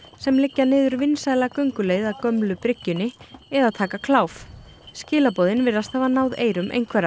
sem liggja niður vinsæla gönguleið að gömlu bryggjunni eða taka kláf skilaboðin virðast hafa náð eyrum einhverra